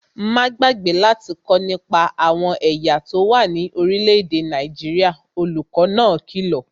Má gbàgbé láti kọ́ nípa àwọn ẹ̀yà tó wà ní orílẹ̀-èdè Nàìjíríà, olùkó náà kìlọ̀